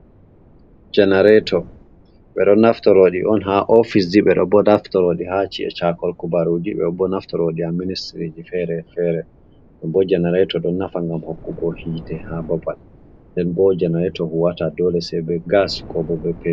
Jenareto ɓeɗo naftoraɗi on ha ofis ji ɓeɗobo ɗo naftorodi ha chi’e chakol kubaruji e'do bo e do naftaroɗi a ministiriji fere-fere. Ɗum bo jenareto ɗon nafa ngam hokkugo hite ha babal nden bo jenareto huwata dole sebe gas kobo be petir.